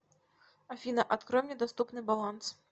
афина открой мне доступный баланс